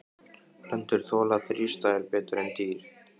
Plöntur þola þrístæður betur en dýr.